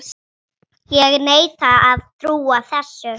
Ég neita að trúa þessu.